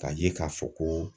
K'a ye k'a fɔ ko